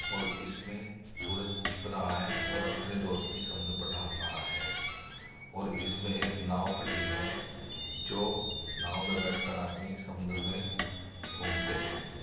और इसमें सूरज छिप रहा है और अपनी रोशनी समुद्र पर डाल रहा है और इसमें एक नाव खड़ी है जो नाव में बैठकर आदमी समुद्र में घूमते हैं।